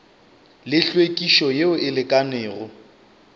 le hlwekišo yeo e lekanego